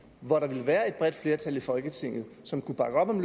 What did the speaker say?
hvor der ville være et bredt flertal i folketinget som kunne bakke op om